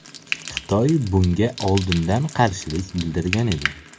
Xitoy bunga oldindan qarshilik bildirgan edi.